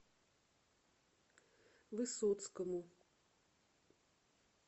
высоцкому